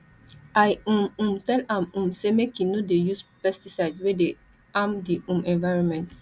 i um um tell am um say make e no dey use pesticides wey dey harm di um environment